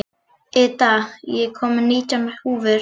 Ida, ég kom með nítján húfur!